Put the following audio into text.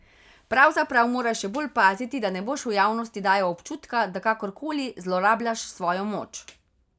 Pravzaprav moraš še bolj paziti, da ne boš v javnosti dajal občutka, da kakor koli zlorabljaš svojo moč.